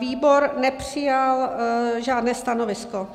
Výbor nepřijal žádné stanovisko.